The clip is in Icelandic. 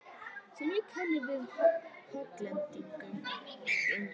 sem ég kenni við Hollendinginn fljúgandi.